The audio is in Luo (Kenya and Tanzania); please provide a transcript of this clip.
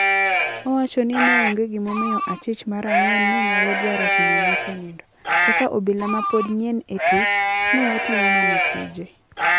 Owacho ni neonge gimomio achich mar angwen ne nyalo dwaro hinyo mosenindo. Kaka obila mapod nyien e tich, ne otimo mana tije.